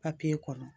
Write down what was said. papiye kɔnɔ